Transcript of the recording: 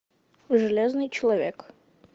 железный человек